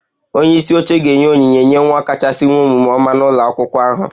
Onye isi oche ga-enye onyinye nye nwa akwụkwọ kachasị nwee omume oma n'ụlọ akwụkwọ ahụ